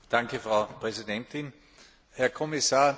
Frau Präsidentin, Herr Kommissar!